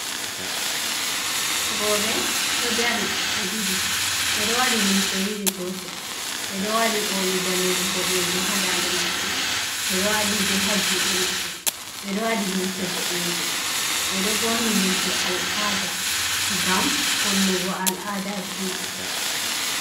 Roɓe ɗo dari ɓe ɗiɗi, ɓe ɗo waɗi limse iri gotel, ɓe ɗo waɗi oli ndade boɗejum ha dande maɓɓe, ɓe ɗo waɗi be ha juɗe maɓɓe, ɓe ɗo waɗi limse boɗejum, ɓe ɗo borni limse al'ada ngam hollugo al'adaji maɓɓe.